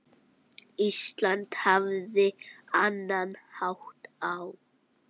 Ísland hafði annan hátt á.